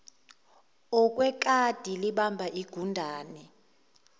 okwekati libamba igundane